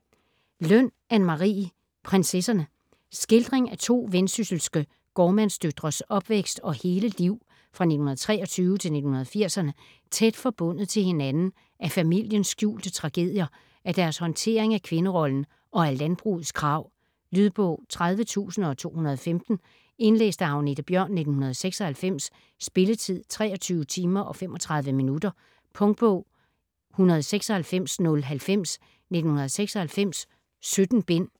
Løn, Anne Marie: Prinsesserne Skildring af to vendsysselske gårdmandsdøtres opvækst og hele liv fra 1923 til 1980'erne, tæt forbundet til hinanden af familiens skjulte tragedier, af deres håndtering af kvinderollen og af landbrugets krav. Lydbog 30215 Indlæst af Agnethe Bjørn, 1996. Spilletid: 23 timer, 35 minutter. Punktbog 196090 1996. 17 bind.